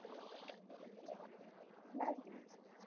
என்னாது